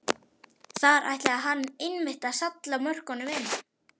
Þar ætlaði hann einmitt að salla mörkunum inn!